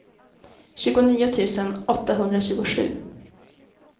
tjugonio tusen åttahundratjugosju